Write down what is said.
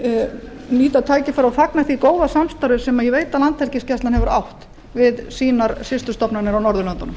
einnig nýta tækifærið og fagna því góða samstarfi sem ég veit að landhelgisgæslan hefur átt við sínar systurstofnanir á norðurlöndunum